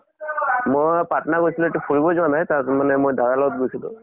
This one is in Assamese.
মই পাট্না গৈছিলো। এইটো ফুৰিব যোৱা নাই তাত মানে মই দাদাৰ লগত গৈছিলো।